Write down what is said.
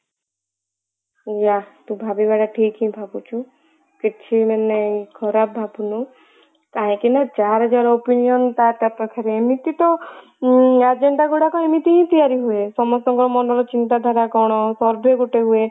yeah ତୁ ଭାବିବାଟା ଠିକ ହିଁ ଭାବିଛୁ କିଛି ମାନେ ଖରାପ ଭାବିନୁ କାହିଁକି ନା ଯାର ଯାର opinion ତା ତା ପାଖରେ ଏମିତି ତ ଉଁ agenda ଗୁଡାକ ଏମିତି ହିଁ ତିଆରି ହୁଏ ସମସ୍ତଙ୍କ ମନର ଚିନ୍ତାଧାରା କଣ survey ଗୋଟେ ହୁଏ